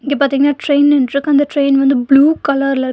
இங்க பாத்தீங்னா ட்ரெயின் நின்ட்ருக்கு அந்த ட்ரெயின் வந்து ப்ளூ கலர்ல இருக்--